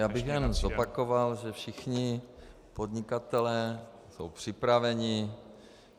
Já bych jenom zopakoval, že všichni podnikatelé jsou připraveni.